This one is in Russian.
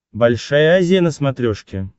большая азия на смотрешке